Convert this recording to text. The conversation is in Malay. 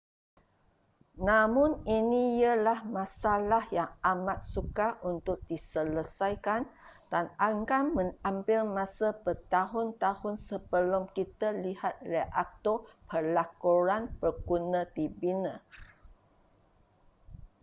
namun ini ialah masalah yang amat sukar untuk diselesaikan dan akan mengambil masa bertahun-tahun sebelum kita lihat reaktor pelakuran berguna dibina